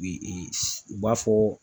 u b'a fɔ